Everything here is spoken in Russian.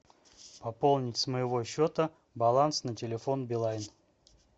пополнить с моего счета баланс на телефон билайн